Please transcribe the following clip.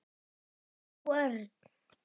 Ert þú Örn?